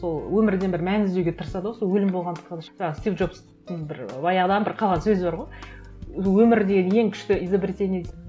сол өмірден бір мән іздеуге тырысады ғой сол өлім жаңа стив джобстың бір баяғыдан бір қалған сөзі бар ғой өмір деген ең күшті изобретение